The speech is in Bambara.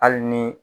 Hali ni